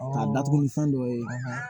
K'a datugu ni fɛn dɔ ye